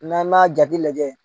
N'a' man jati lajɛ